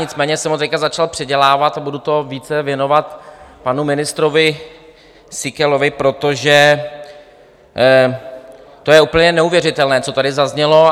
Nicméně jsem ho teď začal předělávat a budu to více věnovat panu ministrovi Síkelovi, protože to je úplně neuvěřitelné, co tady zaznělo.